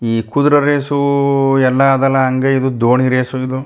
ಈ ಕುದ್ರೆ ರೇಸು ಎಲ್ಲಾ ಅದೆಲ್ಲಾ ಅಂಗೈಯಯಿರೋದು ದೋಣಿ ರೇಸು ಇದು.